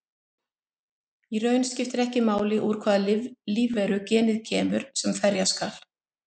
Í raun skiptir ekki máli úr hvaða lífveru genið kemur sem ferja skal.